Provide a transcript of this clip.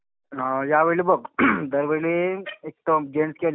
अं यावेळी बघ दरवेळी एक जेन्टस किंवा